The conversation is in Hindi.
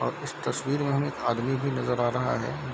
और इस तस्वीर में हमें एक आदमी भी नजर आ रहा है।